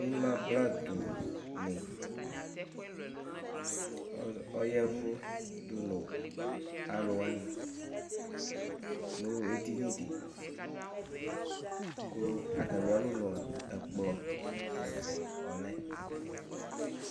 Ɩmabladʋnɩ ɔyavʋ dʋ nʋ alʋwanɩ nʋ edinidɩ kʋ atamɩ alɔnʋa, ɛkplɔ ɛfʋa ɔlɛ